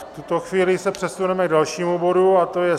V tuto chvíli se přesuneme k dalšímu bodu, a to je